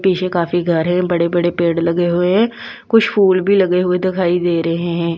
पीछे काफी घर हैं बड़े-बड़े पेड़ लगे हुए हैं कुछ फूल भी लगे हुए दिखाई दे रहे हैं।